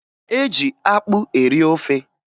E ji akpụ eri ofe